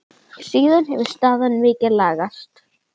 Síðan hefur staðan mikið lagast.